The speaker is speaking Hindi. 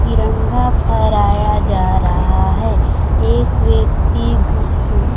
तिरंगा फहराया जा रहा है एक व्यक्ति घु उँ--